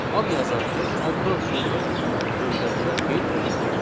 Ad yazarkən addan sonra mütləq mötərizə qeyd olunmalıdır.